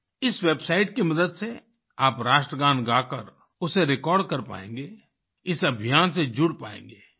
इस वेबसाइट की मदद से आप राष्ट्रगान गाकर उसे रेकॉर्ड कर पाएंगे इस अभियान से जुड़ पाएंगे